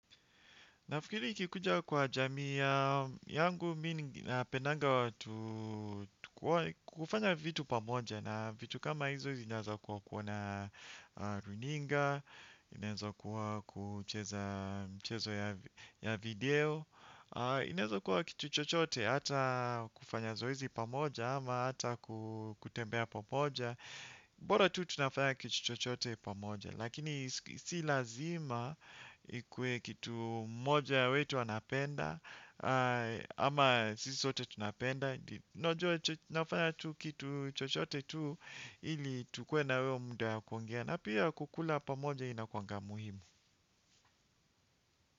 Nafiikiri ikikuja kwa jamia yangu, mi ninapendanga watu kufanya vitu pamoja na vitu kama hizo zinaeza kuwa kuona runinga, inaeza kuwa kucheza mchezo ya video, inaeza kuwa kitu chochote hata kufanya zoezi pamoja ama hata kutembea pamoja. Bora tu tunafanya kitu chochote pamoja. Lakini si lazima ikuwe kitu moja wetu anapenda. Ama sisi sote tunapenda unajua nafanya tu kitu chochote tu ili tukuwe na hiyo muda ya kuongea. Na pia kukula pamoja inakuanga muhimu.